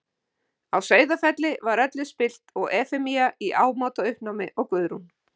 Á Sauðafelli var öllu spillt og Efemía í ámóta uppnámi og Guðrún.